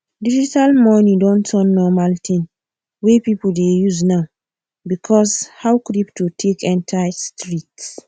digital money don turn normal thing wey people dey use now because of how crypto take enter street